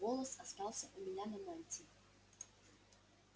этот волос остался у меня на мантии